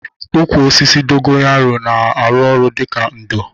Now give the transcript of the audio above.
Ụkwụ osisi dogoyanro na arụ ọrụ dịka ndo